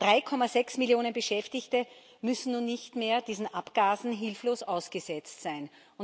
3,6 Millionen Beschäftigte müssen nun nicht mehr diesen Abgasen hilflos ausgesetzt sein.